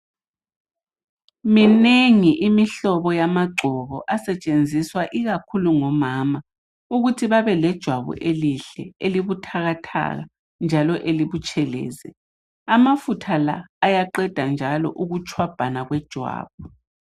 Minengi imihlobo yamagcobo asetshenziswa ikakhulu ngomama ukuthi babe lejwabu elihle elibuthakathaka njalo elibutshelezi. Amafutha la ayaqeda njalo ukutshwabhana kwejwabu.